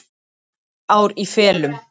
Heilt ár í felum.